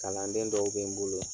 Kalanden dɔw bɛ n bolo.